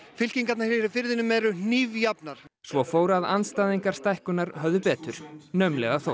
fylkingarnar hér í firðinum eru svo fór að andstæðingar stækkunar höfðu betur naumlega þó